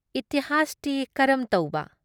ꯏꯇꯤꯍꯥꯁꯇꯤ ꯀꯔꯝ ꯇꯧꯕ ?